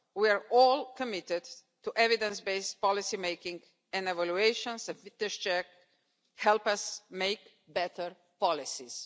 We are all committed to evidence based policy making and evaluations and the fitness check helps us make better policies.